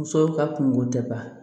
Musow ka kungo tɛ ba